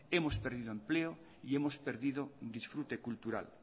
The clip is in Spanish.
hemos perdido empleo y hemos perdido disfrute cultural